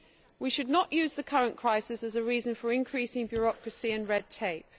We should not use the current crisis as a reason for increasing bureaucracy and red tape.